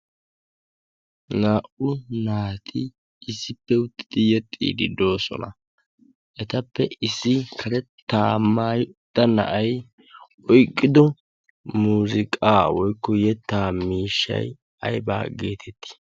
naa'u naati issippe uttidi yexxii diddoosona. etappe issi karettaamaayodda na'ay oyqqido muziqaa woykko yettaa miishshai aybaa geetettii?